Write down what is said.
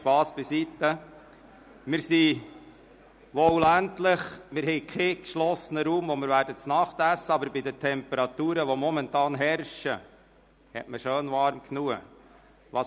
Spass beiseite: Wir sind wohl ländlich und haben keinen geschlossenen Raum, in dem wir abendessen, aber bei den Temperaturen, die momentan herrschen, wird man warm genug haben.